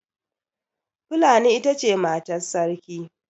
Fulani ita ce matar Sarki.